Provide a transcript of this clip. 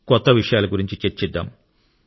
కొత్త విషయాల గురించి చర్చిద్దాం